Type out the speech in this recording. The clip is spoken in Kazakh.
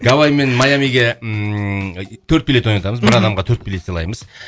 гавайи мен майамиге ммм төрт билет ойнатамыз бір адамға төрт билет сыйлаймыз